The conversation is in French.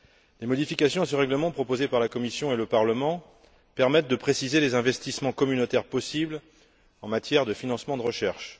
Les modifications de ce règlement proposées par la Commission et le Parlement permettent de préciser les investissements communautaires possibles en matière de financement de recherche.